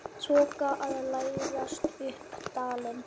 Þoka að læðast upp dalinn.